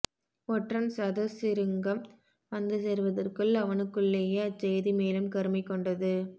ஒற்றன் சதசிருங்கம் வந்துசேர்வதற்குள் அவனுக்குள்ளேயே அச்செய்தி மேலும் கருமை கொண்டது